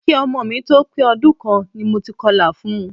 Ki ọmọ mi tó pé ọdún kan ni mo ti kọlà fun.